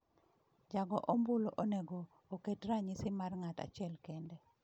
Jago ombulu onego "oket ranyisi mar ng'at achiel kende."